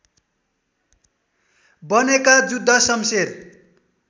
बनेका जुद्ध शम्शेर